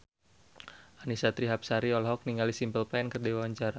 Annisa Trihapsari olohok ningali Simple Plan keur diwawancara